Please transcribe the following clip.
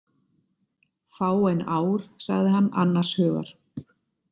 Fáein ár sagði hann annars hugar.